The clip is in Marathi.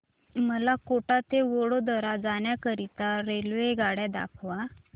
मला कोटा ते वडोदरा जाण्या करीता रेल्वेगाड्या दाखवा